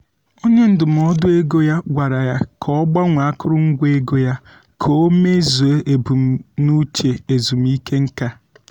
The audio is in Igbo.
onye ndụmọdụ ego ya gwara ya ka o gbanwee akụrụngwa ego ya ka o meezuo ebumnuche ezumike nká.